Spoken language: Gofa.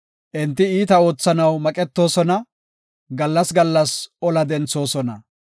Enti iita oothanaw maqetoosona; gallas gallas ola denthoosona.